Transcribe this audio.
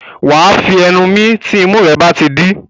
Wà á fi ẹnu mí tí imú rẹ̀ bá ti dí.